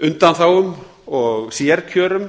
undanþágum og sérkjörum